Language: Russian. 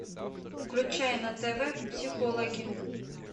включай на тв психологи